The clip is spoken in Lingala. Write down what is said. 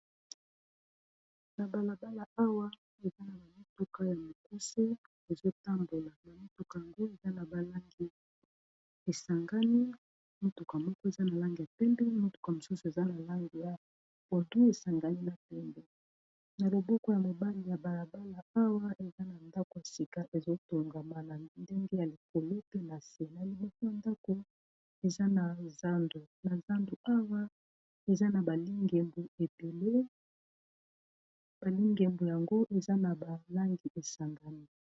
Na balabala awa eza na bamituka ya mokuse ezotambola, na mituka yango eza na balangi esangami motuka moko eza na langi ya pembe motuka mosusu eza na langi ya pondu esangani na pembe, na loboko ya mobali ya balabala awa eza na ndako sika ezotongama na ndenge ya likolo pe na nse, na liboso ya ndako na zandu awa eza na ba lingembu ebele ba lingembu yango eza na balangi esangami.